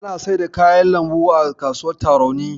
Ana saida kayan lambu a kasuwar Tarauni.